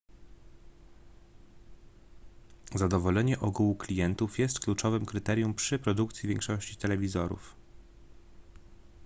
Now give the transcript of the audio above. zadowolenie ogółu klientów jest kluczowym kryterium przy produkcji większości telewizorów